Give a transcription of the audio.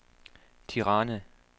Tirana